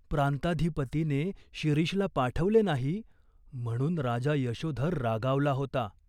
प्रांताधिपतीने शिरीषला पाठवले नाही, म्हणून राजा यशोधर रागावला होता.